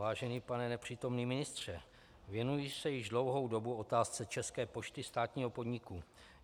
Vážený pane nepřítomný ministře, věnuji se již dlouhou dobu otázce České pošty, státního podniku.